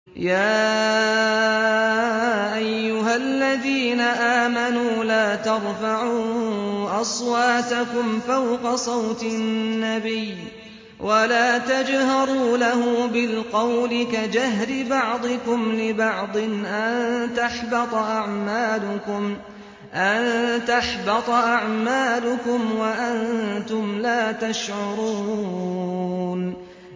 يَا أَيُّهَا الَّذِينَ آمَنُوا لَا تَرْفَعُوا أَصْوَاتَكُمْ فَوْقَ صَوْتِ النَّبِيِّ وَلَا تَجْهَرُوا لَهُ بِالْقَوْلِ كَجَهْرِ بَعْضِكُمْ لِبَعْضٍ أَن تَحْبَطَ أَعْمَالُكُمْ وَأَنتُمْ لَا تَشْعُرُونَ